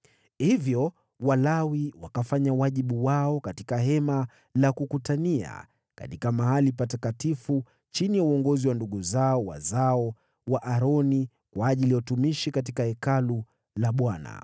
Hivyo Walawi wakafanya wajibu wao katika Hema la Kukutania, katika Mahali Patakatifu chini ya uongozi wa ndugu zao wazao wa Aroni, kwa ajili ya utumishi katika Hekalu la Bwana .